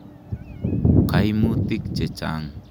Kaimutik che chang'.